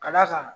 Ka d'a kan